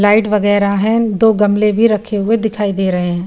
Light वगेरा है दो गमले भी रखे हुए दिखाई दे रहे हैं।